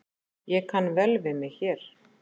Ég kann vel við mig hér